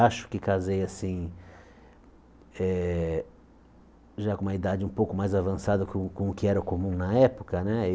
Acho que casei assim eh com uma idade um pouco mais avançada com com o que era comum na época né.